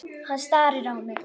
Hann starir á mig.